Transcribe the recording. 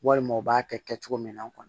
Walima u b'a kɛ kɛcogo min na kɔni